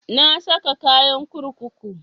Na saka kayan kurkuku